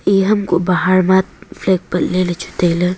eya ham kuh flag patley lechu tailey.